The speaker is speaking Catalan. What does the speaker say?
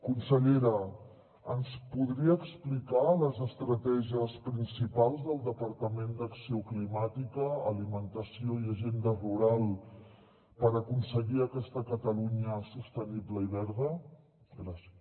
consellera ens podria explicar les estratègies principals del departament d’acció climàtica alimentació i agenda rural per aconseguir aquesta catalunya sostenible i verda gràcies